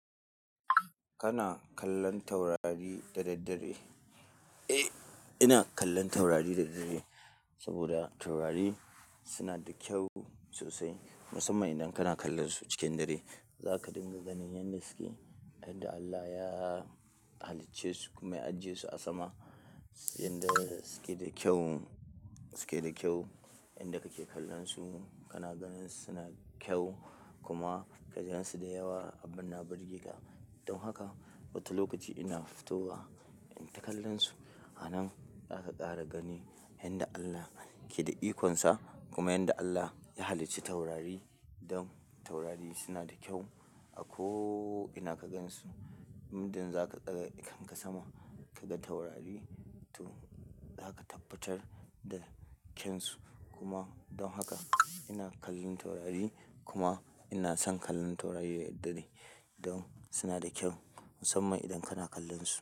Kana kallon taurari da daddare? Eh, ina kallon taurari da daddare saboda taurari suna da kyau sosai, musamman idan kana kallon su cikin dare. Za ka dinga ganin yanda suke, yanda Allah ya halicce su kuma ya ajiye su a sama. Yanda suke da kyau, suke da kyau. Yanda kake kallon su, kana ganin suna kyau kuma ka gan su da yawa. Abun na burge ka. Don haka, wata lokaci ina fito wa inyi ta kallon su. A nan za ka kara ganin yanda Allah ke da ikonsa, kuma yanda Allah ya halicci taurari, don taurari suna da kyau. A ko ina ka gan su, muddin za ka ɗaga idon ka sama ka ga taurari, to za ka tabbatar da kyansu. Kuma don haka ina kallon taurari kuma ina son kallon taurari da daddare don suna da kyau, musamman idan kana kallon su.